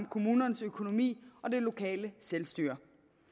kommunernes økonomi og det lokale selvstyre